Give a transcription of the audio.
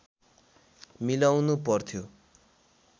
मिलाउनु पर्थ्यो